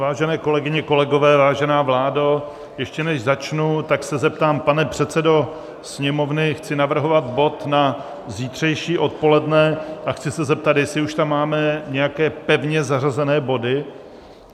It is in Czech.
Vážené kolegyně, kolegové, vážená vládo, ještě než začnu, tak se zeptám, pane předsedo Sněmovny, chci navrhovat bod na zítřejší odpoledne a chci se zeptat, jestli už tam máme nějaké pevně zařazené body.